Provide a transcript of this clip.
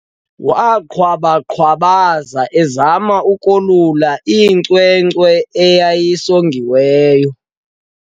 Waqhwaba-qhwabaza ezama ukolula inkcenkce eyayisongekile.